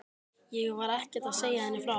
Ég var ekkert að segja henni frá því.